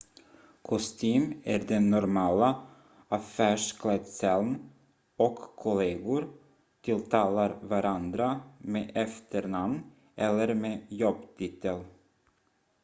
kostym är den normala affärsklädseln och kollegor tilltalar varandra med efternamn eller med jobbtitel